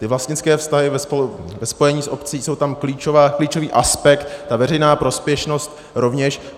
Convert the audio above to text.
Ty vlastnické vztahy ve spojení s obcí jsou tam klíčový aspekt, ta veřejná prospěšnost rovněž.